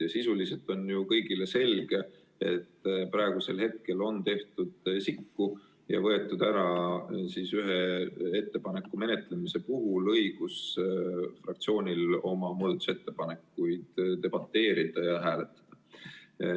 Ja sisuliselt on ju kõigile selge, et praegusel hetkel on tehtud sikku ja võetud ühe ettepaneku menetlemisel fraktsioonilt ära õigus oma muudatusettepanekute üle debateerida ja neid hääletada.